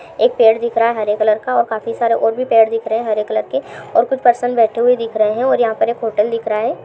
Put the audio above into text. एक पेड़ दिख रहा है हरे कलर का और काफी सारे और भी पेड़ दिख रहे हैं हरे कलर के और कुछ पर्सन बैठे हुए दिख रहे हैं और यहाँ पर एक होटल दिख रहा हैं ।